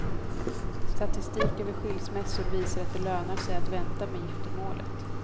Statistik över skilsmässor visar att det lönar sig att vänta med giftermålet.